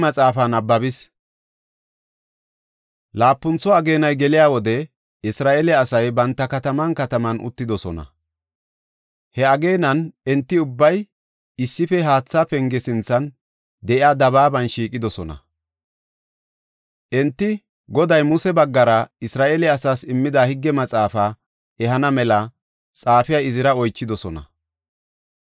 Laapuntho ageenay geliya wode Isra7eele asay banta kataman kataman uttidosona. He ageenan enti ubbay issife Haatha Penge sinthan de7iya dabaaban shiiqidosona. Enti Goday Muse baggara Isra7eele asaas immida Higge Maxaafa ehana mela xaafiya Izira oychidosona.